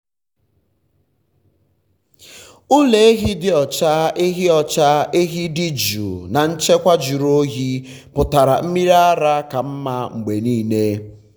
ụlọ ehi dị ọcha ehi ọcha ehi dị jụụ na nchekwa jụrụ oyi um pụtara mmiri ara ka mma mgbe niile.